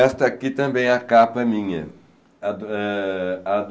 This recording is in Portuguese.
Esta aqui também é a capa minha.